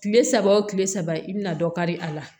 Kile saba wo kile saba i bɛna dɔ kari a la